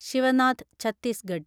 Sivanath Chhattisgarh